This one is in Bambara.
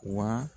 Wa